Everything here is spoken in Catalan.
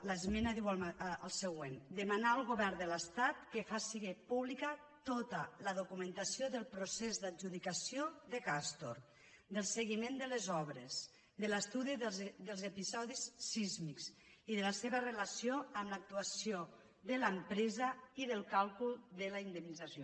l’esmena diu el següent de·manar al govern de l’estat que faci pública tota la do·cumentació del procés d’adjudicació de castor del se·guiment de les obres de l’estudi dels episodis sísmics i de la seva relació amb l’actuació de l’empresa i del càlcul de la indemnització